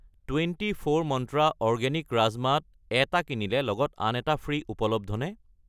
Twenty four Mantra organic rajma ত এটা কিনিলে লগত আন এটা ফ্ৰী' উপলব্ধনে?